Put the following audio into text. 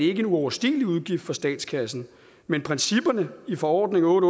en uoverstigelig udgift for statskassen men principperne i forordning otte